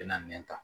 Bɛna nɛn ta